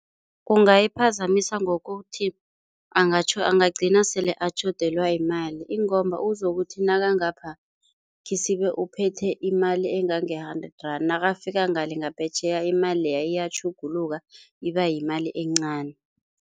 Kungayiphazamisa ngokuthi angagcina sele atjhodelwa yimali uzokuthi nakangapha, khisibe uphethe imali engange-hundred rand, nakafika ngale ngaphetjheya imali leya iyatjhuguluka ibayimali encani.